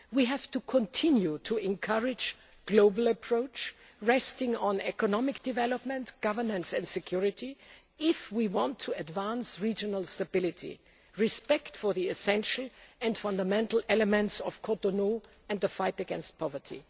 We have to continue to encourage a global approach resting on economic development, governance and security if we want to advance regional stability, respect for the essential and fundamental elements of Cotonou and the fight against poverty.